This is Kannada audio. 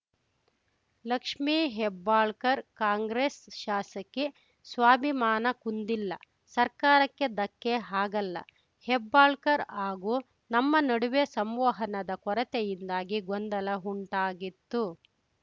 ಲಕ್ಷ್ಮೀ ಹೆಬ್ಬಾಳ್ಕರ್‌ ಕಾಂಗ್ರೆಸ್‌ ಶಾಸಕಿ ಸ್ವಾಭಿಮಾನ ಕುಂದಿಲ್ಲ ಸರ್ಕಾರಕ್ಕೆ ಧಕ್ಕೆ ಆಗಲ್ಲ ಹೆಬ್ಬಾಳ್ಕರ್‌ ಹಾಗೂ ನಮ್ಮ ನಡುವೆ ಸಂವಹನದ ಕೊರತೆಯಿಂದಾಗಿ ಗೊಂದಲ ಉಂಟಾಗಿತ್ತು